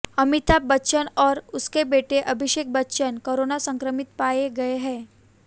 अमिताभ बच्चन और उनके बेटे अभिषेक बच्चन कोरोना संक्रमित पाए गए हैं